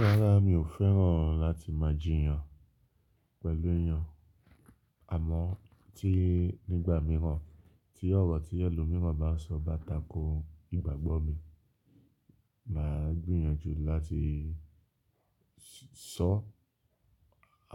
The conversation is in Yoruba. Rárá, mi ò fẹ́ràn láti máa jìyàn pẹ̀lú èèyàn, àmọ́ tí nígbà mìíràn tí ọ̀rọ̀ tí ẹlòmíràn bá sọ bá takò ìgbàgbọ́ mi, màá gbìyànjú láti sọ,